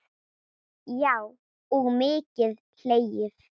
Já og mikið hlegið.